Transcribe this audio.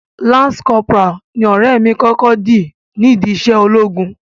Lance corporal ni ọ̀rẹ́ mi kọ́kọ́ di nídi iṣẹ́ ológun.